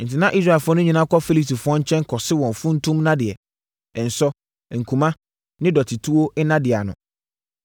Enti, na Israelfoɔ no nyinaa kɔ Filistifoɔ nkyɛn kɔse wɔn funtum nnadeɛ, nsɔ, nkuma ne dɔtetuo nnadeɛ ano.